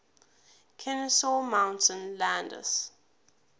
kenesaw mountain landis